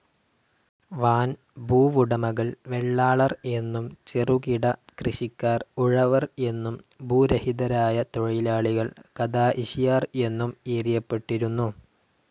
വൻ ഭൂവുടമകൾ വെള്ളാളർ എന്നും, ചെറുകിട കൃഷിക്കാർ ഉഴവർ എന്നും, ഭൂരഹിതരായ തൊഴിൽആളികൾ ഖദാഇഷിയാർ എന്നും ഏരിയപെട്ടിരുന്നു.